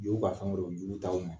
Y'u'a ka fɛn jungu t'aw ma.